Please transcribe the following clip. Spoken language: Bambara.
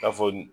K'a fɔ